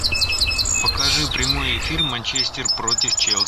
покажи прямой эфир манчестер против челси